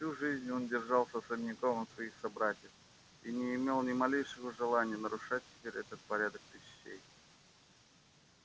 всю жизнь он держался особняком от своих собратьев и не имел ни малейшего желания нарушать теперь этот порядок пещей